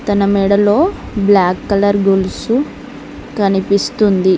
తన మెడలో black colour గొలుసు కనిపిస్తుంది.